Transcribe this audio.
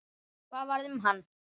Hvað varð um hann?